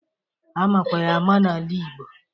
Amakwa ya ama n'ala igbo.